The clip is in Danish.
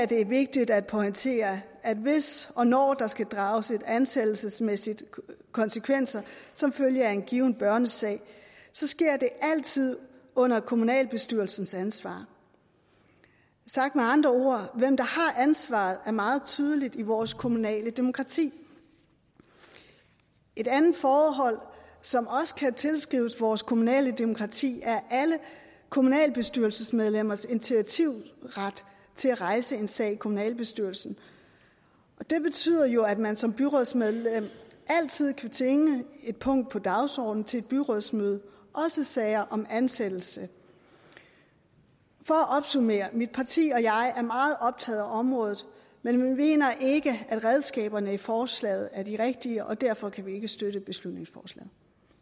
det er vigtigt at pointere at hvis og når der skal drages ansættelsesmæssige konsekvenser som følge af en given børnesag sker det altid under kommunalbestyrelsens ansvar sagt med andre ord hvem der har ansvaret er meget tydeligt i vores kommunale demokrati et andet forhold som også kan tilskrives vores kommunale demokrati er alle kommunalbestyrelsesmedlemmers initiativret til at rejse en sag i kommunalbestyrelsen det betyder jo at man som byrådsmedlem altid kan tvinge et punkt på dagsordenen til et byrådsmøde også i sager om ansættelse for at opsummere mit parti og jeg er meget optaget af området men vi mener ikke at redskaberne i forslaget er de rigtige og derfor kan vi ikke støtte beslutningsforslaget